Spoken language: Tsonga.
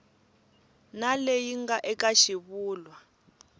na leyi nga eka xivulwa